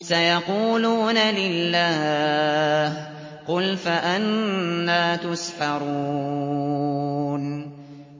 سَيَقُولُونَ لِلَّهِ ۚ قُلْ فَأَنَّىٰ تُسْحَرُونَ